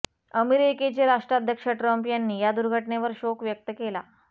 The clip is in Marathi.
अमेरिकेचे राष्ट्राध्यक्ष ट्रम्प यांनी या दुर्घटनेवर शोक व्यक्त केला